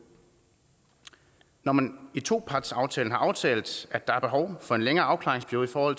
når man i topartsaftalen har aftalt at der er behov for en længere afklaringsperiode for